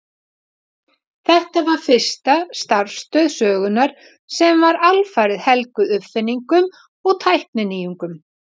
Þetta var fyrsta starfstöð sögunnar sem var alfarið helguð uppfinningum og tækninýjungum.